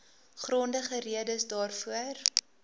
grondige redes daarvoor